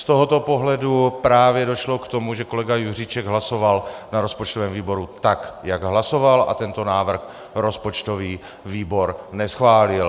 Z tohoto pohledu právě došlo k tomu, že kolega Juříček hlasoval na rozpočtovém výboru tak, jak hlasoval, a tento návrh rozpočtový výbor neschválil.